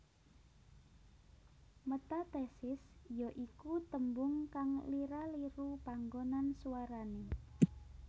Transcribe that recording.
Metathesis ya iku tembung kang lira liru panggonan swarane